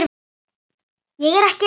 Ég er ekki að hæðast.